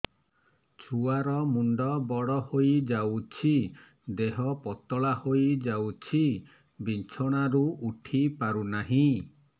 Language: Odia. ଛୁଆ ର ମୁଣ୍ଡ ବଡ ହୋଇଯାଉଛି ଦେହ ପତଳା ହୋଇଯାଉଛି ବିଛଣାରୁ ଉଠି ପାରୁନାହିଁ